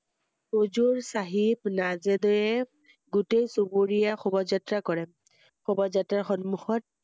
উজুৰ~চাহেব~নাজদেব গোটেই চুবুৰীয়াৰ শোভা যাএা কৰে ৷শোভা যাএাৰ সন্মুখত ৷